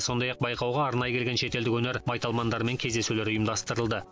сондай ақ байқауға арнайы келген шетелдік өнер майталмандарымен кездесулер ұйымдастырылды